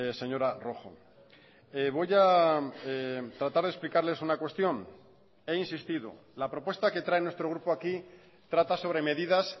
señora rojo voy a tratar de explicarles una cuestión he insistido la propuesta que trae nuestro grupo aquí trata sobre medidas